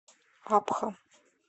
абха